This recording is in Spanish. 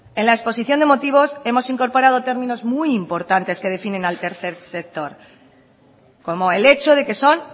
en la exposición de motivos hemos incorporado términos muy importantes que definen al tercer sector como el hecho de que son